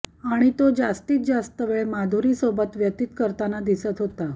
आणि तो जास्तीत जास्त वेळ माधुरीसोबत व्यतित करताना दिसत होता